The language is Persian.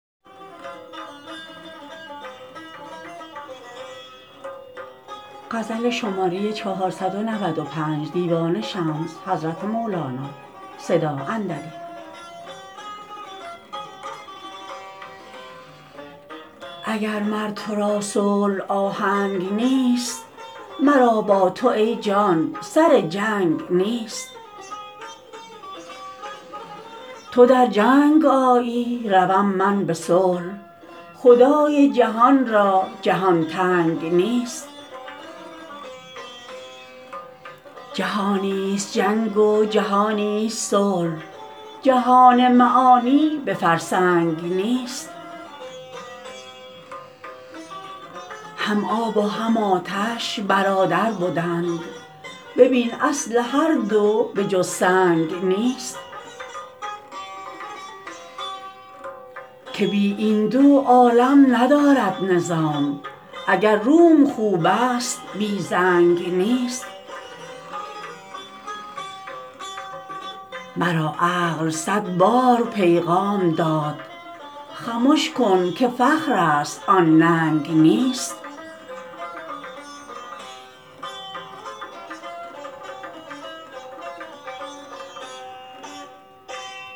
اگر مر تو را صلح آهنگ نیست مرا با تو ای جان سر جنگ نیست تو در جنگ آیی روم من به صلح خدای جهان را جهان تنگ نیست جهانیست جنگ و جهانیست صلح جهان معانی به فرسنگ نیست هم آب و هم آتش برادر بدند ببین اصل هر دو به جز سنگ نیست که بی این دو عالم ندارد نظام اگر روم خوبست بی زنگ نیست مرا عقل صد بار پیغام داد خمش کن که فخرست آن ننگ نیست